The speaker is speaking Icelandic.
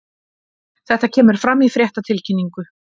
Þetta kemur fram í fréttatilkynningu